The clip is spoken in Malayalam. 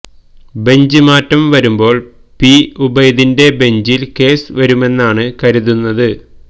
ബെഞ്ച് മാറ്റം വരുമ്പോൾ പി ഉബൈദിന്റെ ബെഞ്ചിൽ കേസ് വരുമെന്നാണ് കരുതുന്നത്